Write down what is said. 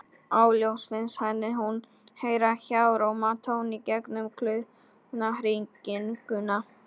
Upphefst nú kapphlaup á milli veðurútlits og líftóru.